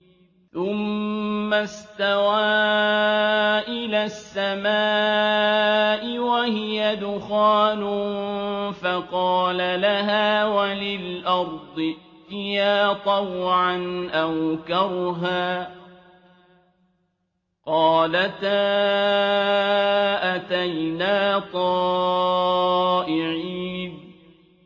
ثُمَّ اسْتَوَىٰ إِلَى السَّمَاءِ وَهِيَ دُخَانٌ فَقَالَ لَهَا وَلِلْأَرْضِ ائْتِيَا طَوْعًا أَوْ كَرْهًا قَالَتَا أَتَيْنَا طَائِعِينَ